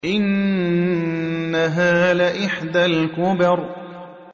إِنَّهَا لَإِحْدَى الْكُبَرِ